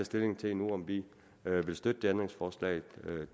stilling til endnu om vi vil støtte det ændringsforslag